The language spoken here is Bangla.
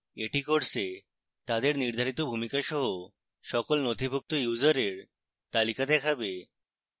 এটি course তাদের নির্ধারিত ভূমিকা সহ সকল নথিভুক্ত ইউসারের তালিকা দেখাবে